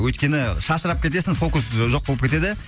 өйткені шашырап кетесің фокус ж жоқ болып кетеді